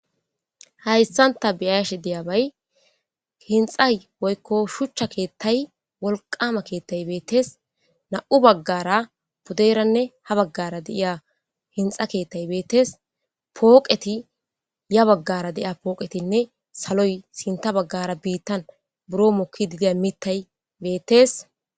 Hayssanta biyash diyabay hinxay woykko shuchcha keettay wolqama keettay beettees na7u baggara podeeranne ha baggara deiya hinxa keettay beettes pooqeti ya baggara deiya pooqetinne saloy sinta baggara biittan buro mokki didiya mittay beettees.